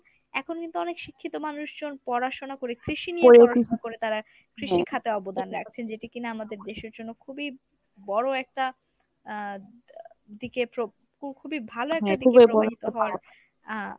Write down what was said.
এখন কিন্তু অনেক শিক্ষিত মানুষজন পড়াশুনা করে কৃষি নিয়ে করে তারা কৃষি খাতে অবদান রাখছেন যেটি কিনা আমাদের দেশের জন্য খুবই বড় একটা আহ দিকে প্রব খু~খুবই ভালো একটা দিকে হওয়ার আহ